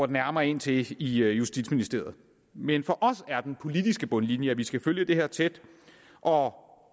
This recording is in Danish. nærmere ind til i justitsministeriet men for os er den politiske bundlinje at vi skal følge det her tæt og